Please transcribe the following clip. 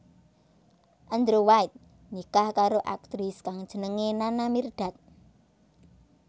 Andrew White nikah karo aktris kang jenengé Nana Mirdad